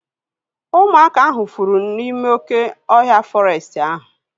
Ụmụaka ahu fụrụ n'ime oké ọhịa fọrestị ahu